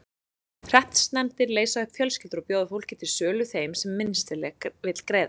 Hreppsnefndir leysa upp fjölskyldur og bjóða fólkið til sölu þeim sem minnst vill greiða.